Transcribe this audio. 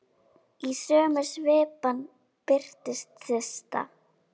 Í sömu svipan birtist Systa.